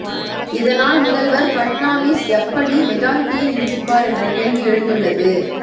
இதனால் முதல்வர் பட்னாவிஸ் எப்படி மெஜாரிட்டியை நிரூபிப்பார் என்ற கேள்வி எழுந்துள்ளது